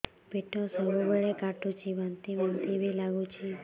ପେଟ ସବୁବେଳେ କାଟୁଚି ବାନ୍ତି ବାନ୍ତି ବି ଲାଗୁଛି